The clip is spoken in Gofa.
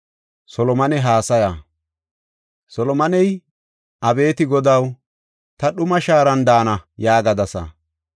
Solomoney, “Abeeti Godaw, ‘Ta dhuma shaaran daana’ yaagadasa.